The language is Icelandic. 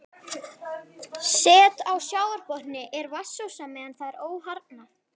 Set á sjávarbotni er vatnsósa meðan það er óharðnað.